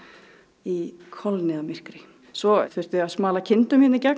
í kolniðamyrkri svo þurfti að smala kindum hér í gegn